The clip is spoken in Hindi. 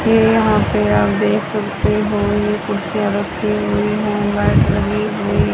ये यहां पे आप देख सकते हो ये कुर्सियां रखी हुई हैं लाइट लगी हुई--